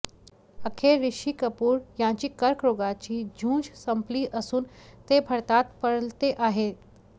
अखेर ऋषी कपूर यांची कर्करोगाची झूंज संपली असून ते भारतात परलते आहेत